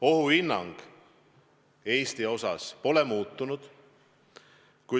Ohuhinnang Eesti kohta pole muutunud.